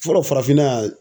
Fɔlɔ farafinna yan